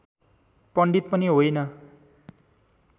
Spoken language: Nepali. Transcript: पण्डित पनि होइन